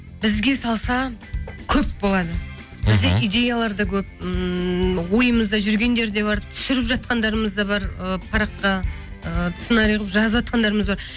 бізге салса көп болады мхм бізде идеялар да көп ммм ойымызда жүргендер де бар түсіріп жатқандарымыз да бар ы параққа ы сценарий қылып жазып жатқандарымыз да бар